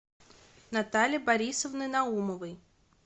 натальи борисовны наумовой